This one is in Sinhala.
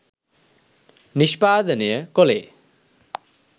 නිෂ්පාදනය කොළේ